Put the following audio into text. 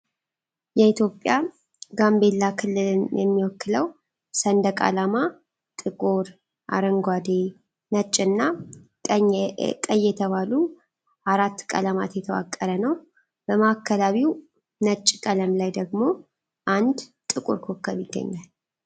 የኢትዮጵያ ጋምቤላ ክልልን የሚወክለው ሰንደቅ ዓላማ ጥቁር፣ አረንጓዴ፣ ነጭና ቀይ የተባሉ አራት ቀለማት የተዋቀረ ነው። በማዕከላዊው ነጭ ቀለም ላይ ደግሞ አንድ ጥቁር ኮከብ ይገኛል።